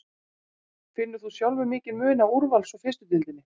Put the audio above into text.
Finnur þú sjálfur mikinn mun á úrvals og fyrstu deildinni?